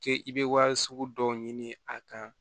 K'e i bɛ wari sugu dɔw ɲini a kan